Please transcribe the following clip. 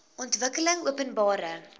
ontwikkelingopenbare